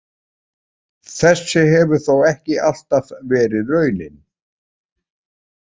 Þessi hefur þó ekki alltaf verið raunin.